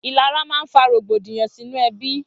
Ilàrá mà n fà rógbódiyàn sinú èbí